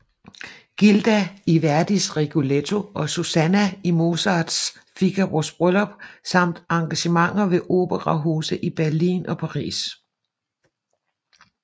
Gilda i Verdis Rigoletto og Susanna i Mozarts Figaros Bryllup samt engagementer ved operahuse i Berlin og Paris